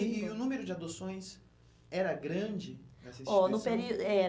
E e o número de adoções era grande nessa instituição? Ó, no perí, era